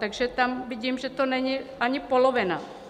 Takže tam vidím, že to není ani polovina.